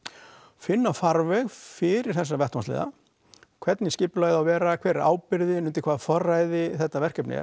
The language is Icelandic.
finna farveg fyrir þessa vettvangsliða hvernig skipulagið á að vera hver er ábyrgðin undir hvaða forræði þetta verkefni er